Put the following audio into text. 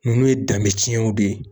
Ninnu ye danbe ciw de ye.